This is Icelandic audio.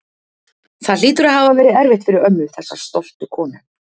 Það hlýtur að hafa verið erfitt fyrir ömmu, þessa stoltu konu.